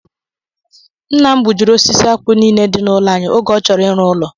Nna m gbujiri osisi akwụ nile di n'ụlọ anyị oge ọ chọrọ ịrụ ụlọ.